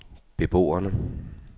beboerne